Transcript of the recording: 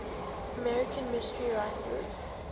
american mystery writers